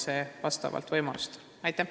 See toimub vastavalt võimalustele.